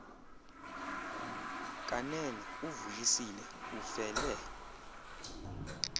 kanene uvuyisile ufele